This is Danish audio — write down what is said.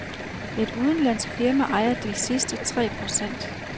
Et udenlandsk firma ejer de sidste tre procent.